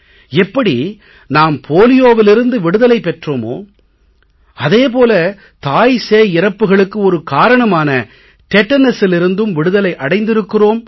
எப்படி நாம் போலியோவிலிருந்து விடுதலை பெற்றோமோ அதே போல தாய்சேய் இறப்புக்களுக்கு ஒரு காரணமான டெடனஸிலிருந்தும் விடுதலை அடைந்திருக்கிறோம்